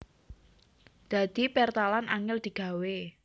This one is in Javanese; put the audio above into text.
Dadi pertalan angèl digawé